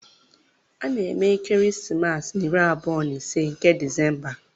A na-eme ekeresimesi na iri abụọ na ise nke Disemba